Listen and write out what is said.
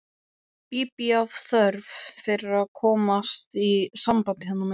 Bíbí af þörf fyrir að komast í samband hérna megin.